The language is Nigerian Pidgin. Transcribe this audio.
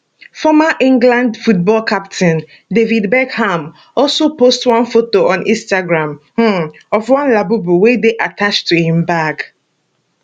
former england football captain david beckham also post one photo on instagram um of one labubu wey dey attached to im bag